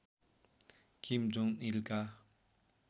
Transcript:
Kim Jong इलका